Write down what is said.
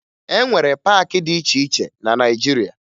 E nwere paakị dị iche iche na Naịjirịa